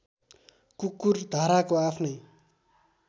कुकुर धाराको आफ्नै